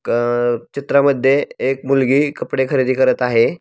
क अ चित्रामध्ये एक मुलगी कपडे खरेदी करत आहे.